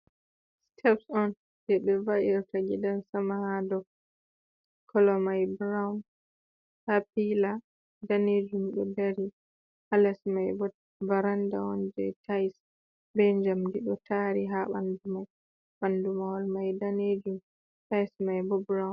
Siteps on, je ɓe va’irta gidan sama ha ɗow. Kolo mai Burawun ha pila ɗanejum ɗo ɗari. Ha las mai varanɗa on ɓe tais ɓe jamɗi ɗo tari ha ɓanɗu mai. Ɓanɗu mahol mai ɗanejum tais mai ɓo ɓurawun.